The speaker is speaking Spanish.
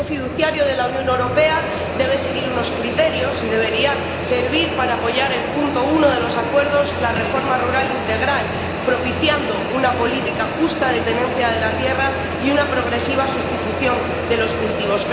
El Fondo fiduciario de la Unión Europea debe seguir unos criterios y debería servir para apoyar el punto uno de los acuerdos, la reforma rural integral, propiciando una política justa de tenencia de la tierra y una progresiva sustitución de los cultivos.